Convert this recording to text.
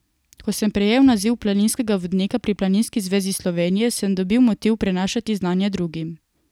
Ko sem prejel naziv planinskega vodnika pri Planinski zvezi Slovenije, sem dobil motiv prenašati znanje drugim.